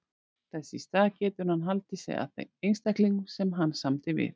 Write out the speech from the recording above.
Þess í stað getur hann haldið sig að þeim einstaklingum sem hann samdi við.